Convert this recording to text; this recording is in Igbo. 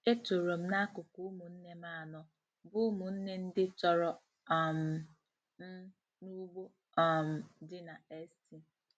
Etorom na akụkụ ụmụnne m anọ, bụ́ ụmụnne ndị tọrọ um m, n’ugbo um dị na St.